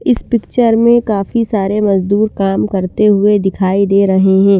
इस पिक्चर मे काफी सारे मजदूर काम करते हुए दिखाई दे रहे है।